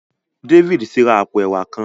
David tí rá àpò ẹwà kán.